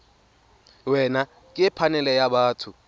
wena ke phanele ya batho